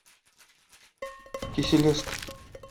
киселевск